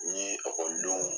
Ni ɔkɔlidenw